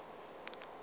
le bjona bo ile bja